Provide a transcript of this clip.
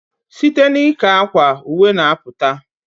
Site n ika akwa, uwe n aputa